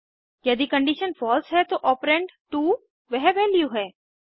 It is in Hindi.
यदि कंडीशन फॉल्स है तो ऑपरेंड 2 वह वैल्यू है